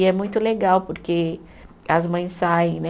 E é muito legal porque as mães saem, né?